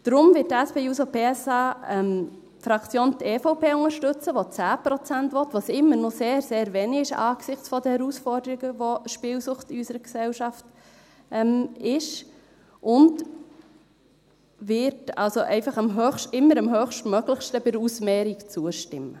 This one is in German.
Deshalb wird die SP-JUSO-PSA-Fraktion die EVP unterstützen, die 10 Prozent will – was immer noch sehr, sehr wenig ist, angesichts der Herausforderung, die die Spielsucht in unserer Gesellschaft darstellt –, und wird bei der Ausmehrung immer dem Höchstmöglichen zustimmen.